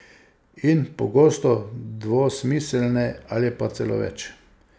In pogosto dvosmiselne, ali pa celo več.